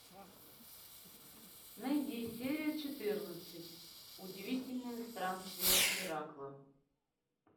найди серию четырнадцать удивительное странствие геракла